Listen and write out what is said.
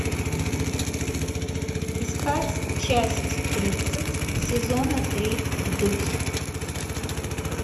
искать часть тридцать сезона три вдудь